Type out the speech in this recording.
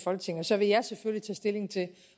folketinget så vil jeg selvfølgelig tage stilling til